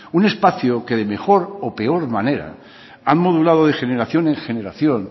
un espacio que de mejor o peor manera han modulado de generación en generación